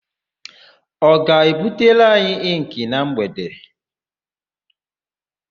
Ọ ga-ebutere anyị ịnkị na mgbede?